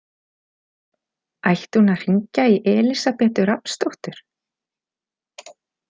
Ætti hún að hringja í Elísabetu Rafnsdóttur?